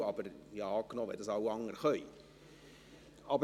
Aber ich habe angenommen, wenn das alle anderen können …